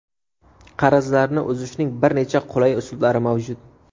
Qarzlarni uzishning bir necha qulay uslublari mavjud.